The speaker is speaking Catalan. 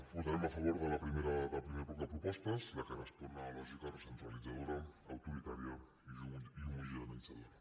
votarem a favor del primer bloc de propostes el que respon a la lògica recentralitzadora autoritària i homogeneïtzadora